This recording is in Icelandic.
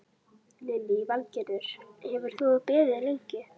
Lillý Valgerður: Hefur þú beðið lengi?